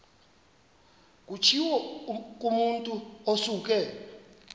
kutshiwo kumotu osuke